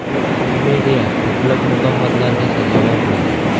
Komediya ko‘plab mukofotlarga sazovor bo‘ldi.